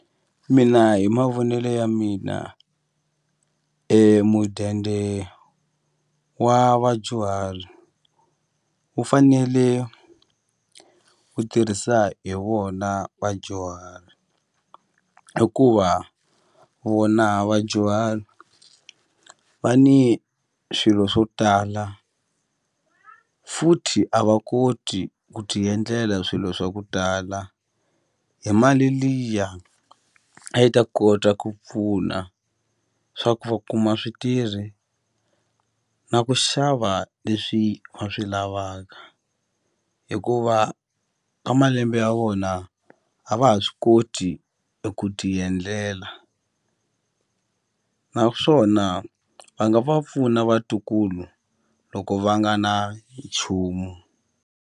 Mina hi mavonele ya mina e mudende wa vadyuhari wu fanele wu tirhisa hi vona vadyuhari hikuva vona vadyuhari va ni swilo swo tala futhi a va koti ku ti endlela swilo swa ku tala hi mali liya a yi ta kota ku pfuna swa ku va kuma switirhi na ku xava leswi va swi lavaka hikuva ka malembe ya vona a va ha swi koti eku ti endlela naswona va nga va pfuna vatukulu loko va nga na nchumu.